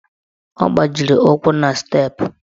Ọ gbajiri ụkwụ na steepụ.